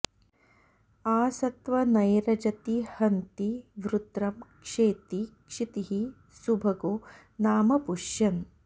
आ सत्वनैरजति हन्ति वृत्रं क्षेति क्षितीः सुभगो नाम पुष्यन्